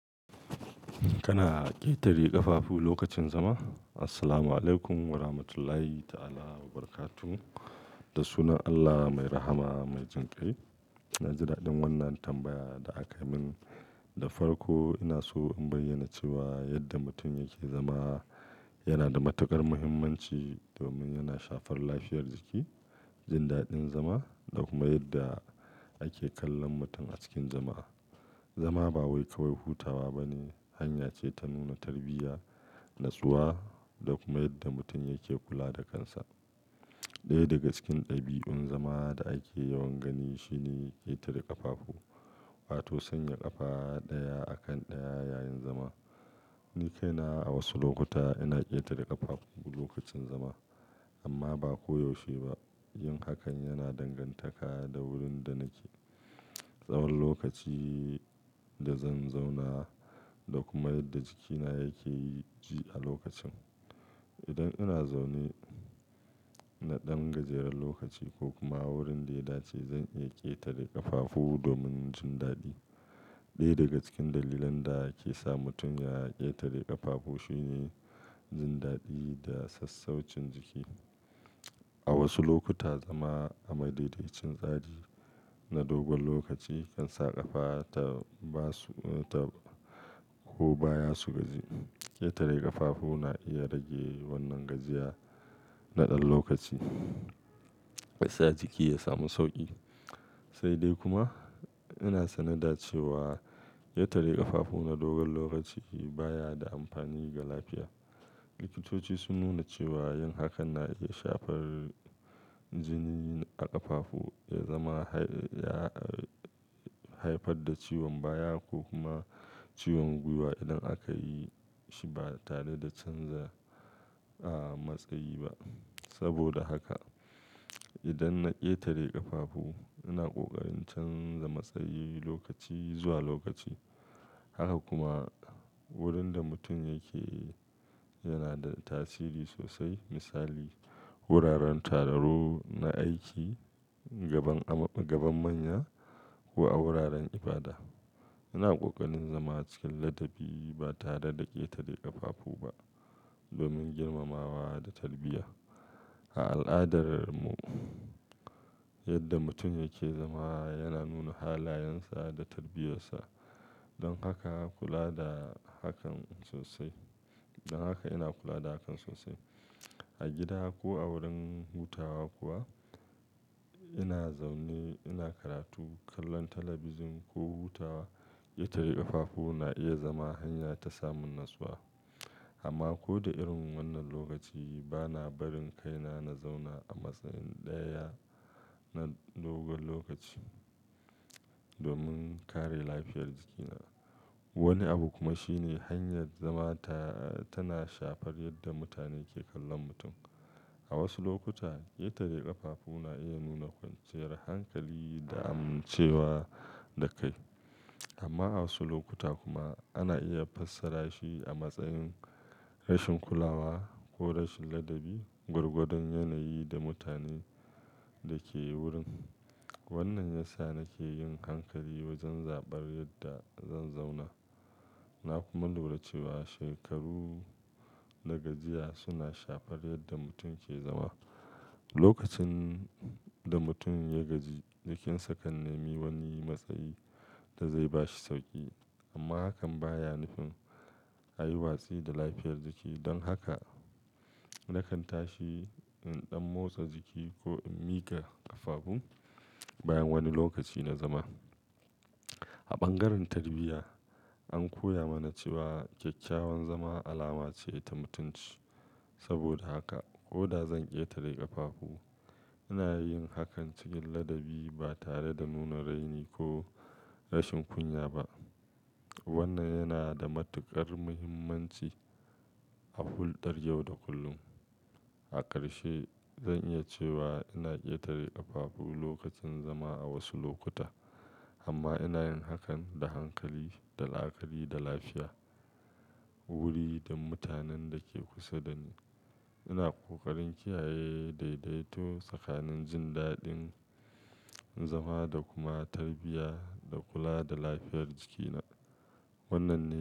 Kana ƙetare ƙafafu lokacin zama? Assalamu alaikum wa rahmatullahi ta'ala wa barakatuh. Da sunan Allah mai rahama, mai jinƙai. Jin daɗin wannan tambaya da aka min da farko, ina so in bayyana cewa yadda mutum yake zama yana da matuƙar muhimmanci domin yana shafar lafiyar jiki, jin daɗin zama da kuma yadda ake kallon mutum a cikin jama'a. Zama ba wai kawai hutawa ba ne, hanya ce ta nuna tarbiyya, natsuwa da kuma yadda mutum yake kula da kansa. Ɗaya daga cikin ɗabi'un zama da ake yawan gani shine ƙetare ƙafafu, wato sanya ƙafa ɗaya a kan ɗaya yayin zama. Ni kaina a wasu lokuta ina ƙetare ƙafafu lokacin zama, amma ba koyaushe ba. Yin hakan yana dangantaka da wurin da nake, tsawon lokaci da zan zauna da kuma yadda jikina yake yi ji a lokacin. Idan ina zaune na ɗan gajeren lokaci ko kuma wurin dai dace, zan iya ƙetare ƙafafu domin jin daɗi. Ɗaya daga cikin dalilan da ke sa mutum ya ƙetare ƙafafu shine jin daɗi da sassaucin jiki. A wasu lokuta, zama a madaidaicin tsari na dogon lokaci kan sa ƙafa ta ba su, ta ko baya su gaji. Ƙetare ƙafafu na iya rage wannan gajiya na ɗan lokaci, ya sa jiki ya samu sauƙi. Sai dai kuma, ina sane da cewa ƙetare ƙafafu na dogon lokaci baya da amfani ga lafiya. Likitoci sun nuna cewa yin hakan na iya shafar jini a ƙafafu, ya zama hai, ya, ah, haifar da ciwon baya ko kuma ciwon gwiwa idan aka yi shi ba tare da canza, ah, matsayi ba. Saboda haka, idan na ƙetare ƙafafu, ina ƙoƙarin canza matsayi lokaci zuwa lokaci. Haka kuma wurin da mutum yake yana da tasiri sosai. Misali, wuraren taro na aiki, gaban ama, gaban manya ko a wuraren ibada. Ina ƙoƙarin zama cikin ladabi ba tare da ƙetare ƙafafu ba domin girmamawa da tarbiyya. A al'adar mu, yadda mutum yake zama yana nuna halayensa da tarbiyyarsa. Don haka kula da hakan sosai. Don haka ina kula da hakan sosai. A gida ko a wurin hutawa kuwa ina zaune, ina karatu, kallon talabijin ko hutawa, ƙetare ƙafafu na iya zama hanya ta samun natsuwa. Amma ko da irin wannan lokaci bana barin kaina na zauna a matsayi ɗaya na dogon lokaci domin kare lafiyar jikina. Wani abu kuma shine hanyar zama ta, ah, tana shafar yadda mutane ke kallon mutum. A wasu lokuta, ƙetare ƙafafu na iya nuna kwanciyar hankali da amincewa da kai. Amma a wasu lokuta kuma ana iya fassara shi a matsayin rashin kulawa ko rashin ladabi, gwargadon yanayi da mutanen da ke wurin. Wannan ya sa nake yin hankali wajen zabar yadda zan zauna. Na kuma lura cewa shekaru da gajiya suna shafar yadda mutum ke zama. Lokacin da mutum ya gaji, jikinsa kan nemi wani matsayi da zai ba shi sauƙi. Amma hakan baya nufin a yi watsi da lafiyar jiki. Don haka nakan tashi in ɗan motsa jiki ko in miƙa ƙafafu bayan wani lokaci na zama. A bangaren tarbiyya an koya mana cewa kyakkyawan zama alama ce ta mutunci. Saboda haka ko da zan ƙetare ƙafafu, ina yin hakan cikin ladabi ba tare da nuna raini ko rashin kunya ba. Wannan yana da matuƙar muhimmanci a hulɗar yau da kullum. A ƙarshe, zan iya cewa ina ƙetare ƙafafu lokacin zama a wasu lokuta, amma ina yin hakan da hankali da la'akari da lafiya, wuri da mutanen da ke kusa da ni. Ina ƙoƙarin kiyaye daidaito tsakanin jin daɗin zama da kuma tarbiyya da kula da lafiyar jikina. Wannan ne.